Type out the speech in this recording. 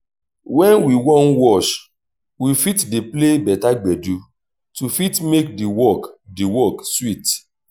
when we wan wash we fit dey play better gbedu to fit make di work di work sweet